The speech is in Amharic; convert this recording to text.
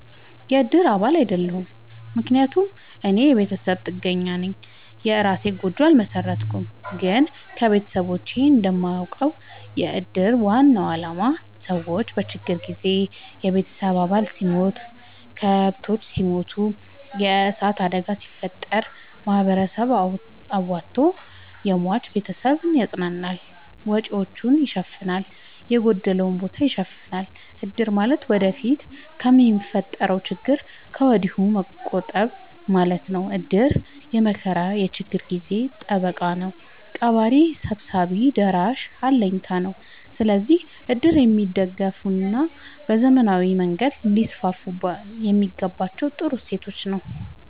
የእድር አባል አይደለሁም። ምክንያቱም እኔ የቤተሰብ ጥገኛነኝ የእራሴን ጎጆ አልመሠረትኩም። ግን ከቤተሰቦቼ እንደማውቀው። የእድር ዋናው አላማ ሰዎች በችግር ጊዜ የቤተሰብ አባል ሲሞት፤ ከብቶች ሲሞቱ፤ የዕሳት አደጋ ሲፈጠር፤ ማህበረሰቡ አዋቶ የሟችን ቤተሰብ ያፅናናል፤ ወጪወቹን ይሸፋናል፤ የጎደለውን ቦታ ይሸፋናል። እድር ማለት ወደፊት ለሚፈጠረው ችግር ከወዲሁ መቆጠብ ማለት ነው። እድር የመከራ የችግር ጊዜ ጠበቃ ነው። ቀባሪ ሰብሳቢ ደራሽ አለኝታ ነው። ስለዚህ እድር የሚደገፋና በዘመናዊ መንገድ ሊስስፋየሚገባው ጥሩ እሴት ነው።